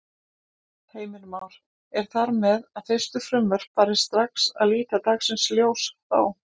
Heimir Már: Er þar með að fyrstu frumvörp fari strax að líta dagsins ljós þá?